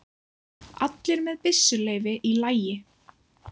Allir með byssuleyfi í lagi